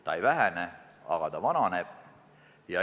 Ta ei vähene, aga ta vananeb.